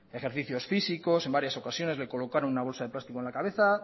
ejercicios físicos en varias ocasiones les colocaron una bolsa de plástico en la cabeza